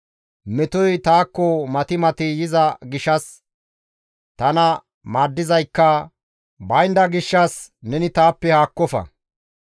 Metoy taakko mati mati yiza gishshas, tana maaddizaykka baynda gishshas neni taappe haakkofa.